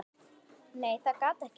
Nei þetta gat ekki passað.